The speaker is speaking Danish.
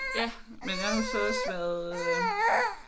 Ja men jeg har jo så også været øh